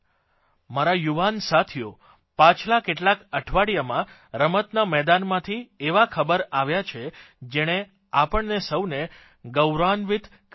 મારા યુવાન સાથીઓ પાછલાં કેટલાંક અઠવાડિયામાં રમતના મેદાનમાંથી એવા ખબર આવ્યા છે જેણે આપણને સૌને ગૌરવાન્વિત કર્યા છે